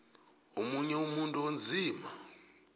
omunye umuntu onzima